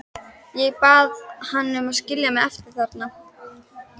Ég bað hann að skilja mig eftir þarna.